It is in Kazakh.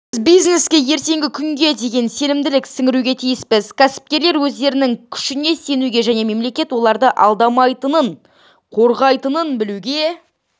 біз бизнеске ертеңгі күнге деген сенімділік сіңіруге тиіспіз кәсіпкерлер өздерінің күшіне сенуге және мемлекет оларды алдамайтынын қорғайтынын білуге